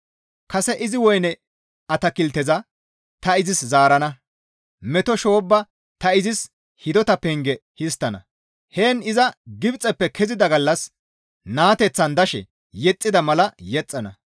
Kase izi woyne atakilteza ta izis zaarana; meto shoobba ta izis hidota penge histtana; heen iza Gibxeppe kezida gallas naateththan dashe yexxida mala yexxana.